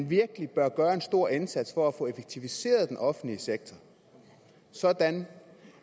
virkelig bør gøre en stor indsats for at få effektiviseret den offentlige sektor sådan